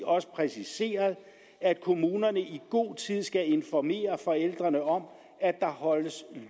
også præciseret at kommunerne i god tid skal informere forældrene om at der holdes